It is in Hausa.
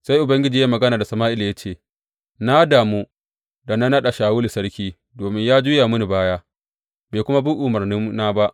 Sai Ubangiji ya yi magana da Sama’ila ya ce, Na damu da na naɗa Shawulu sarki, domin ya juya mini baya, bai kuma bi umarnina ba.